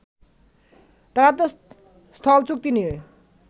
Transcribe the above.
তারা তো স্থল চুক্তি নিয়ে